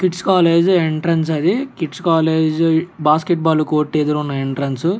Kits college entrance అది KITS college basketball ఎదురు ఉంది ఎంట్రన్స్ .